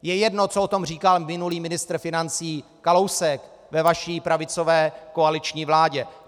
Je jedno, co o tom říkal minulý ministr financí Kalousek ve vaší pravicové koaliční vládě.